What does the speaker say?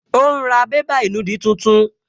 Ó ún ra bébà ìnùdí tuntun